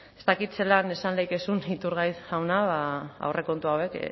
ez dakit zelan esan dezakezun iturgaiz jauna aurrekontu hauek